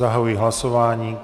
Zahajuji hlasování.